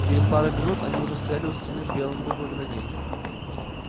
через пару минут они уже стояли у стены с белым буквами на ней